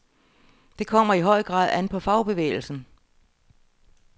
Det kommer i høj grad an på fagbevægelsen.